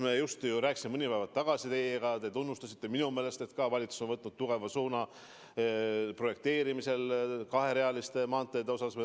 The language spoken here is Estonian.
Me rääkisime just mõned päevad tagasi teiega ja te tunnustasite minu meelest ka, et valitsus on võtnud tugeva suuna projekteerimisel, mis puudutab kaherealisi maanteid.